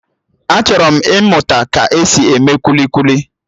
Achọrọ m ịmụta ka-esi eme kwili kwili